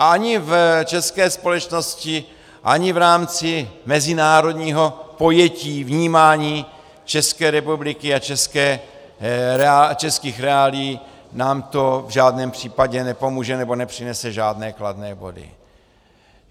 A ani v české společnosti, ani v rámci mezinárodního pojetí vnímání České republiky a českých reálií nám to v žádném případě nepomůže nebo nepřinese žádné kladné body.